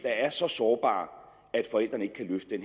er så sårbare